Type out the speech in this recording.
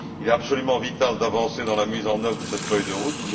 Il est absolument vital d'avancer dans la mise en œuvre de cette feuille de route.